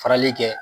Farali kɛ